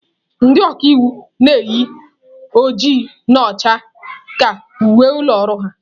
Ndị ọka iwu na-eyi oji na ọcha ka uwe ụlọ ọrụ ha.